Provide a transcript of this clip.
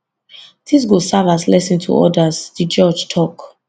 dis go serve as lesson to odas di judge tok